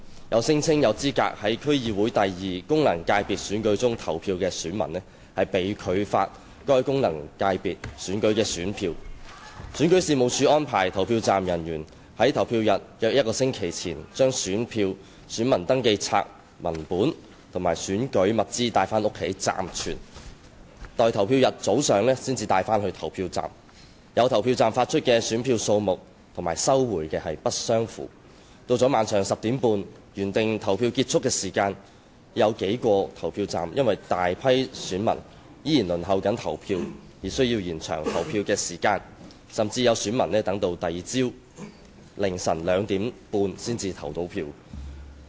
有聲稱有資格在區議會功能界別選舉中投票的選民被拒發該功能界別選舉的選票；選舉事務處安排投票站人員在投票日約一星期前將選票、選民登記冊文本及選舉物資帶回家暫存，待投票日早上才帶往投票站；有投票站發出選票的數目與收回的不相符；到了晚上10時半的原定投票結束時間，有數個投票站因有大批選民仍在輪候投票而需延長投票時間，甚至有選民等到翌日凌晨二時半才能投票。